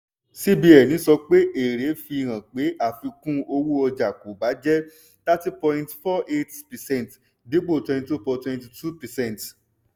cbn sọ pé èrí fi hàn pé àfikún-owó-ọjà kò bà jẹ́ hirty point four eight percent dípò twenty two point twenty two percent